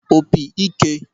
opi ike